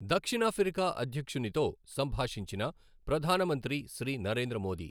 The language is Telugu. దక్షిణఆఫ్రికా అధ్యక్షునితో సంభాషించిన ప్రధాన మంత్రి శ్రీ నరేంద్ర మోదీ